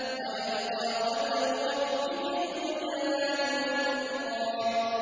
وَيَبْقَىٰ وَجْهُ رَبِّكَ ذُو الْجَلَالِ وَالْإِكْرَامِ